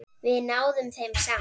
Við náum þeim samt!